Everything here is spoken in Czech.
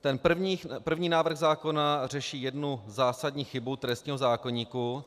Ten první návrh zákona řeší jednu zásadní chybu trestního zákoníku.